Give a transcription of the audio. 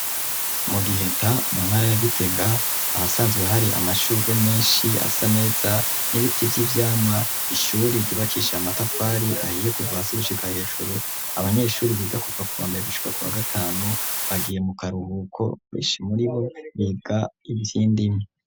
Mu giheta muntara yagitega ahasanzwe hari amashurwe menshi asa neza n'ibiti vy'ivyama ishuri ryubakisha amatafari ahiye kuvasi gushika hejuru abanyeshuri biga kupfa kubambere gushika ku ba gatanu bagiye mu karuhuko kweshi muri bo biga ivyindimi.